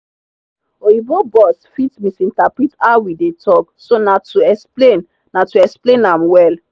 oyibo boss fit misinterpret how we dey talk so na to explain na to explain am well.